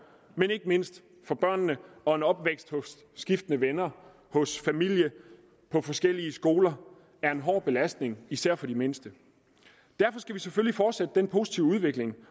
men ikke mindst for børnene og en opvækst hos skiftende venner hos familie på forskellige skoler er en hård belastning især for de mindste derfor skal vi selvfølgelig fortsætte den positive udvikling